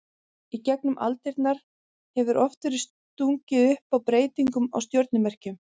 Í gegnum aldirnar hefur oft verið stungið upp á breytingum á stjörnumerkjunum.